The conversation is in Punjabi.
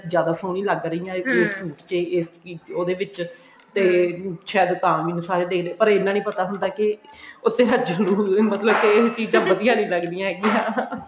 ਜਿਆਦਾ ਸੋਹਣੀ ਲੱਗ ਰਹੀ ਹਾਂ ਇਸ suit ਚ ਇਸ ਉਹਦੇ ਵਿੱਚ ਤੇ ਸ਼ਾਇਦ ਤਾਂ ਮੈਨੂੰ ਸਾਰੇ ਦੇਖਦੇ ਪਰ ਇਹਨਾਂ ਨੀ ਪਤਾ ਹੁੰਦਾ ਕੇ ਉੱਥੇ ਆਹ ਜਲੂਸ ਮਤਲਬ ਕੇ ਇਹ ਚੀਜਾਂ ਵਧੀਆ ਨੀ ਲੱਗਦੀਆਂ ਹੈਗਿਆ